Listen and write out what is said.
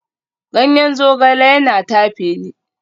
Ganyen zogale yana tafe ni